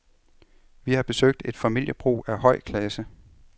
Vi har besøgt et familiebrug af høj klasse.